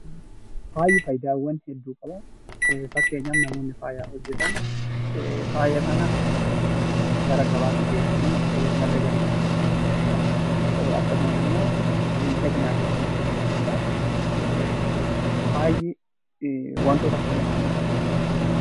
Faayi faayidaawwan hedduu qaba. Fakkeenyaf namoonni faaya hojjetan faaya kana gara gabaatti geessanii madda galiitiif ooluu danda'a jechuudhaa. Akkasumas immoo miidhaginaafillee ni fayyada jechuudhaa. Faayi wantoota akkam akkamiirraa qophaa'a?